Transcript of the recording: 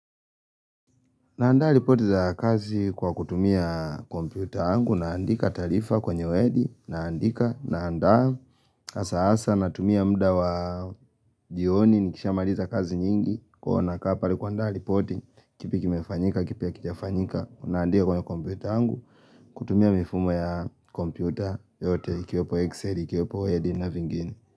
Naandaa ripoti za kazi kwa kutumia kompyuta yangu, naandika taarifa kwenye wedi, naandika, naandaa hasa hasa, natumia muda wa jioni, nikisha maliza kazi nyingi, huwa nakaa pale kuandaa ripoti, kipi kimefanyika, kipi hakijafanyika, naandika kwenye kompyuta yangu, kutumia mifumo ya kompyuta yote, ikiwepo Excel, ikiwepo wedi na vingini.